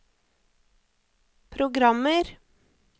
programmer